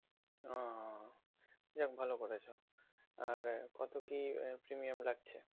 আহ যাক ভালো করেছ। আর কত কী premium লাগছে?